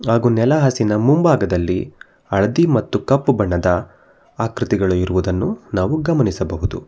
ಹಾಗು ನೆಲಹಾಸಿನ ಮುಂಭಾಗದಲ್ಲಿ ಹಳದಿ ಮತ್ತು ಕಪ್ಪು ಬಣ್ಣದ ಆಕೃತಿಗಳು ಇರುವುದನ್ನು ನಾವು ಗಮನಿಸಬಹುದು.